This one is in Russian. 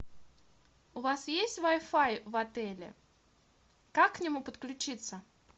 у вас есть вай фай в отеле как к нему подключиться